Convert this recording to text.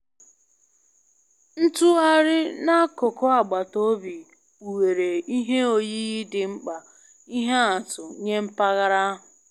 Ntugharị n'akụkụ agbata obi kpughere ihe oyiyi dị mkpa ihe atụ nye mpaghara ahụ